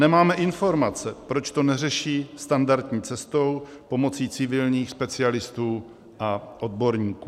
Nemáme informace, proč to neřeší standardní cestou, pomocí civilních specialistů a odborníků.